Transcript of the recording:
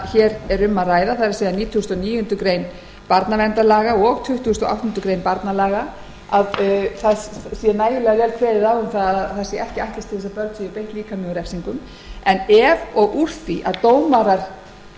hér um ræðir það er nítugasta og níundu grein barnaverndarlaga og tuttugasta og áttundu grein barnalaga að ekki sé ætlast til þess að börn séu beitt líkamlegum